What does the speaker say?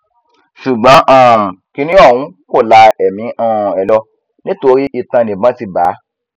ṣùgbọn um kinní ọhún kò la ẹmí um ẹ lọ nítorí itan níbọn ti bá a